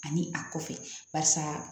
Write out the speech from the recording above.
Ani a kɔfɛ barisa